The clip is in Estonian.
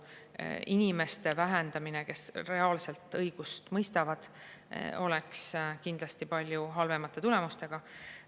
Nende inimeste arvu vähendamine, kes reaalselt õigust mõistavad, oleks kindlasti palju halvemate tulemustega.